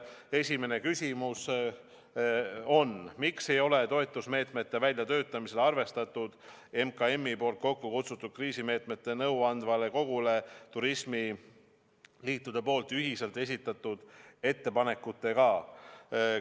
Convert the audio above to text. Esimene küsimus on: "Miks ei ole toetusmeetmete väljatöötamisel arvestatud MKMi poolt kokku kutsutud kriisimeetmete nõuandvale kogule turismiliitude poolt ühiselt esitatud ettepanekutega?